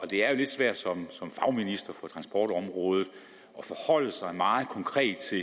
det er jo lidt svært som fagminister for transportområdet at forholde sig meget konkret til